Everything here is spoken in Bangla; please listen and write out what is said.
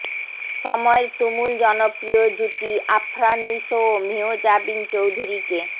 সময়ের তুমুল জনপ্রিয় জুটি আফরান নিশো ও মেহজাবীন চৌধুরীকে